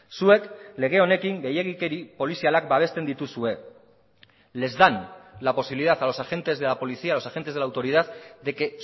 zuek lege honekin gehiegikeri polizialak babesten dituzue les dan la posibilidad a los agentes de la policía a los agentes de la autoridad de que